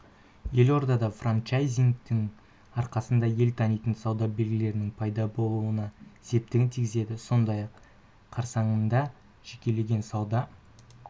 елордада франчайзингтің арқасында ел танитын сауда белгілерінің пайда болуына септігін тигізеді сондай-ақ қарсаңында жекелеген сауда